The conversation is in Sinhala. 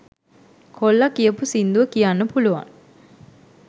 කොල්ලා කියපු සින්දුව කියන්න පුළුවන්